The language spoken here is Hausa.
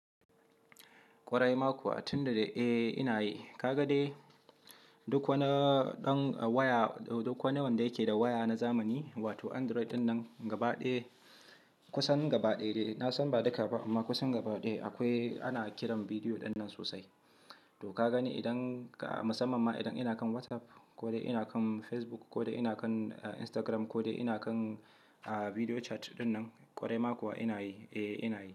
Kwarai ma kuwa, tun da da eh ina yi. Ka ga dai duk wanda yake da waya na zamani wato Android dinnan gabaɗaya, kusan gabaɗaya dai. Na san ba duka ba amma kusan gabaɗaya akwai ana kiran bidiyo ɗinnan sosai. To ka gani idan ka, musamman ma idan ina kan WhatsApp ko ina kan Facebook ko ina kan Instagram ko ina kan bidiyo chat dinnan, kwarai ma kuwa ina yi, eh ina yi.